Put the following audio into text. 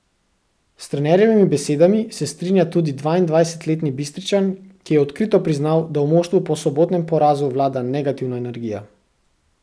S trenerjevimi besedami se strinja tudi dvaindvajsetletni Bistričan, ki je odkrito priznal, da v moštvu po sobotnem porazu vlada negativna energija.